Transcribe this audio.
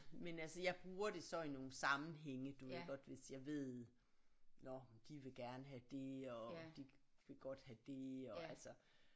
Men altså jeg bruger det så i nogle sammenhænge du ved godt hvis jeg ved nåh de vil gerne have det og de vil godt have det og altså